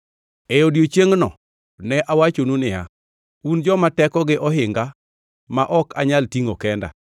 E odiechiengno ne awachonu niya, “Un joma tekogi ohinga ma ok anyal tingʼo kenda.